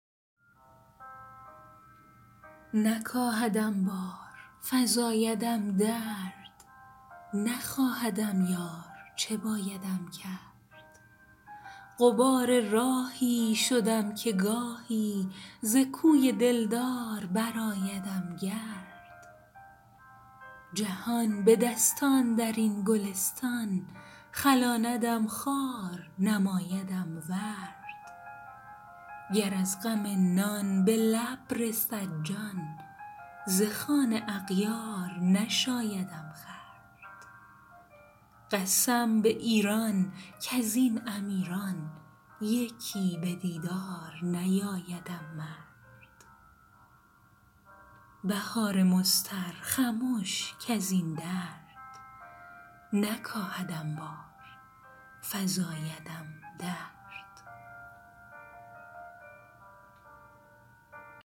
نکاهدم بار فزایدم درد نخواهدم یار چه بایدم کرد غبار راهی شدم که گاهی زکوی دلدار برآیدم گرد به هرکجا بخت کشاندم رخت سپهر دوار نمایدم طرد فلک چو بازی به گرم تازی فشاردم خوار ربایدم سرد جهان به دستان درین گلستان خلاندم خار نمایدم ورد کجا شوم پیش غمم شود بیش تن آیدم زار رخ آیدم زرد گر از غم نان به لب رسد جان ز خوان اغیار نشایدم خورد به لعب دشمن کجا دهم تن اگر دو صد بارگشایدم نرد قسم به ایران کزین امیران یکی به دیدار نیایدم مرد بهار مضطر خمش کزین درد نکاهدم بار فزایدم درد